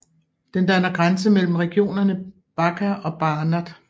Den danner grænse mellem regionerne Bačka og Banat